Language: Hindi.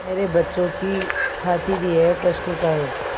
मेरे बच्चों की खातिर यह कष्ट उठायें